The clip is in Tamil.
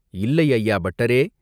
"இல்லை, ஐயா, பட்டரே!